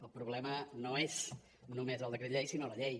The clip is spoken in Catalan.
el problema no és només el decret llei sinó la llei